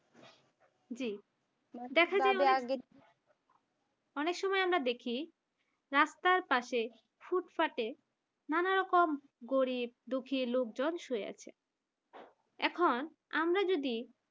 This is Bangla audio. জি অনেক সময় আমরা দেখি রাস্তার পাশে ফুটফাটে নানারকম গরিব দুঃখী লোকজন শুয়ে আছে এখন আমরা যদি